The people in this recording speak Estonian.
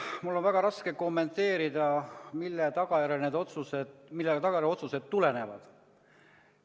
Mul on väga raske kommenteerida, millest need otsused tulenevad.